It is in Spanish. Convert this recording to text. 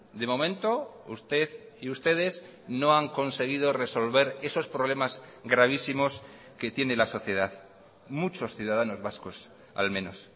de momento usted y ustedes no han conseguido resolver esos problemas gravísimos que tiene la sociedad muchos ciudadanos vascos al menos